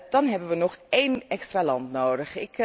Dan hebben we nog één extra land nodig.